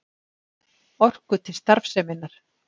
Orku til starfseminnar.